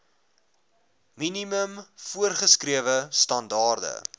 minimum voorgeskrewe standaarde